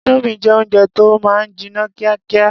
Indomie jẹ́ oúnjẹ tó máa ń jiná kíákíá.